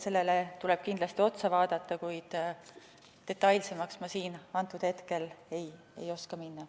Sellele tuleb kindlasti otsa vaadata, kuid detailsemaks ma siinkohal ei oska minna.